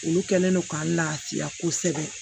Olu kɛlen don k'an lafiya kosɛbɛ